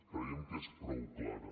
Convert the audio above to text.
creiem que és prou clara